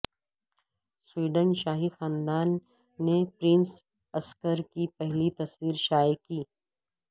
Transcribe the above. Sweden شاہی خاندان نے پرنس عثکر کی پہلی تصویر شائع کی